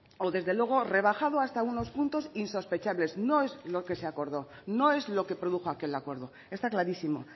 o desde luego rebajado hasta unos puntos insospechables no es lo que se acordó no es lo que produjo aquel acuerdo está clarísimo